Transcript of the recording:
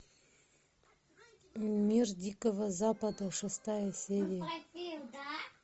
мир дикого запада шестая серия